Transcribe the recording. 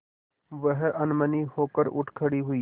वह अनमनी होकर उठ खड़ी हुई